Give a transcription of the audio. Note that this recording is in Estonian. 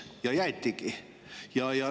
Ja jäetigi.